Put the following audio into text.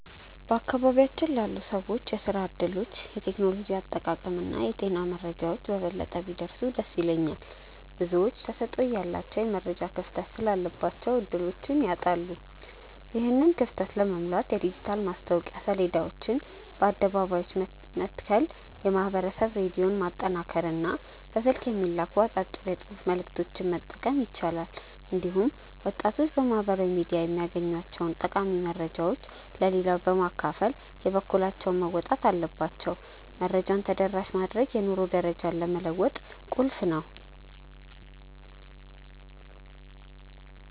በአካባቢያችን ላሉ ሰዎች የሥራ ዕድሎች፣ የቴክኖሎጂ አጠቃቀምና የጤና መረጃዎች በበለጠ ቢደርሱ ደስ ይለኛል። ብዙዎች ተሰጥኦ እያላቸው የመረጃ ክፍተት ስላለባቸው ዕድሎችን ያጣሉ። ይህንን ክፍተት ለመሙላት የዲጂታል ማስታወቂያ ሰሌዳዎችን በአደባባዮች መትከል፣ የማኅበረሰብ ሬዲዮን ማጠናከርና በስልክ የሚላኩ አጫጭር የጽሑፍ መልዕክቶችን መጠቀም ይቻላል። እንዲሁም ወጣቶች በማኅበራዊ ሚዲያ የሚያገኟቸውን ጠቃሚ መረጃዎች ለሌላው በማካፈል የበኩላቸውን መወጣት አለባቸው። መረጃን ተደራሽ ማድረግ የኑሮ ደረጃን ለመለወጥ ቁልፍ ነው።